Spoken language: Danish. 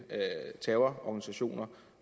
terrororganisationer